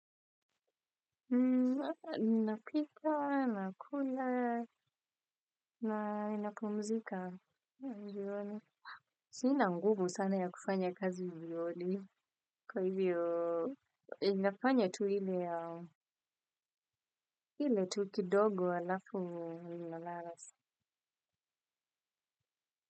Napika, nakula, na napumzika, njioni. Sina nguvu sana ya kufanya kazi hivyo odi. Kwa hivyo, inafanya tu hile, hile tu kidogo alafu minalarasi.